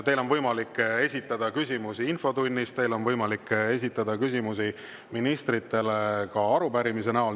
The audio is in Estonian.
Teil on võimalik esitada küsimusi infotunnis, teil on võimalik esitada küsimusi ministritele ka arupärimiste näol.